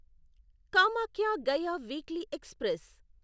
Kamakhya Gaya weekly express